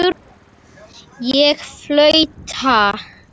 Ég flauta.